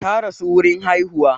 Ta rasu wurin haihuwa